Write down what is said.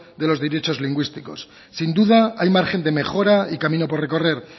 de los derechos lingüísticos sin duda hay margen de mejora y camino por recorrer